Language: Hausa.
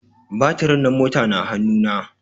Batiri na mota na hanu na